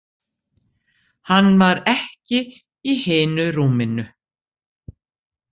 Hann var ekki í hinu rúminu.